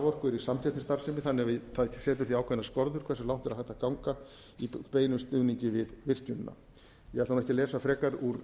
er samkeppnisstarfsemi þannig að það setur því ákveðnar skorður hversu langt er hægt að ganga í beinum stuðningi við virkjunina ég ætla ekki að lesa frekar úr